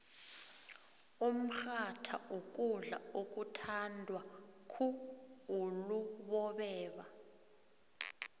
umrhatha kukudla okuthandwa khuulubobeba